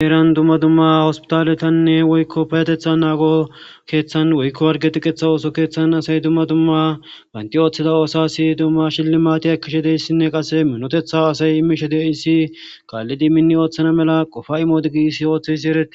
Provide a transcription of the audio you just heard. Heeran dumma dumma hospitaaletanne woykko payatetha naago keeththan woykko warge tiqetha ooso keeththan asay dumma dumma baynti ooththida oosasi dumma shilli maati akkishe deyssinne qase minotetha asay imishe deissi qaallidi minni ooththana mela qofa imood giisi ooththeysi erete.